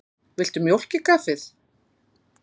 Viltu mjólk í kaffið?